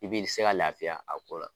I b'i se ka lafiya a ko la.